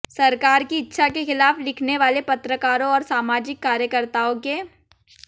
सरकार की इच्छा के खिलाफ लिखने वाले पत्रकारों और सामाजिक कार्यकर्ताओं के